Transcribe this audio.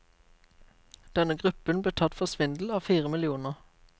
Denne gruppen ble tatt for svindel av fire millioner.